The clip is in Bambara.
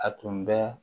A tun bɛ